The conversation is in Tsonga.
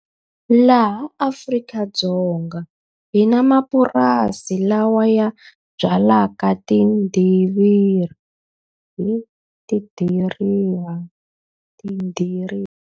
Laha Afrika-Dzonga hi na mapurasi lawa ya byalaka tidiriva .